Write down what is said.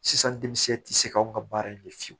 Sisan denmisɛn tɛ se ka anw ka baara in kɛ fiyewu